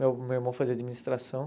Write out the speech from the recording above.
Meu meu irmão fazia administração.